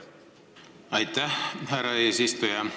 Aitäh, härra eesistuja!